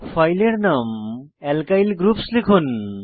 ফাইলের নাম alkyl groups লিখুন